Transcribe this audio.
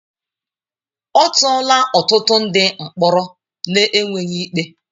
A tụọla ọtụtụ ndị mkpọrọ n'enweghị ikpe.